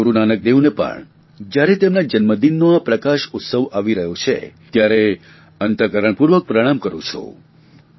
હું ગુરૂ નાનક દેવને પણ જયારે તેમના જન્મદિનનો આ પ્રકાશ ઉત્સવ આવી રહ્યો છે ત્યારે અંતઃકરણપૂર્વક પ્રણામ કરૂં છું